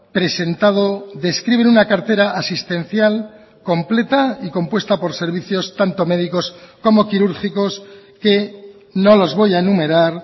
presentado describen una cartera asistencial completa y compuesta por servicios tanto médicos como quirúrgicos que no los voy a enumerar